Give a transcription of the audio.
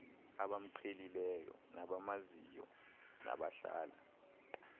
abamqhelileyo nabamaziyo nabahlala